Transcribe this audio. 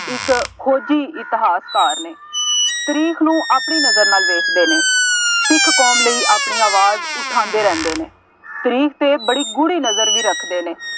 ਇੱਕ ਖੋਜੀ ਇਤਿਹਾਸਕਾਰ ਨੇ, ਤਰੀਖ ਨੂੰ ਆਪਣੀ ਨਜ਼ਰ ਨਾਲ ਵੇਖਦੇ ਨੇ, ਸਿੱਖ ਕੌਮ ਲਈ ਆਪਣੀ ਆਵਾਜ਼ ਉਠਾਂਦੇ ਰਹਿੰਦੇ ਨੇ, ਤਰੀਖ ਤੇ ਬੜੀ ਗੂੜ੍ਹੀ ਨਜ਼ਰ ਵੀ ਰੱਖਦੇ ਨੇ,